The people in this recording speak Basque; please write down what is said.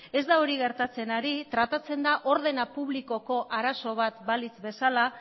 ez da hori gertatzen ari tratatzen da ordena publikoko arazo bat balitz bezala